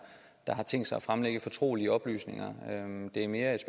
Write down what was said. der har tænkt sig at fremlægge fortrolige oplysninger det er mere et